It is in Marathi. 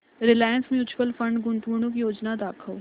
रिलायन्स म्यूचुअल फंड गुंतवणूक योजना दाखव